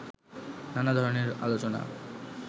নানা ধরনের আলোচনা